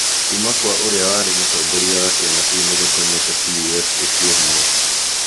Kuuma kwa ũrĩa warĩ Mũtongoria wa kĩama kĩu nĩ gũtũmĩte CUF ĩkue hinya.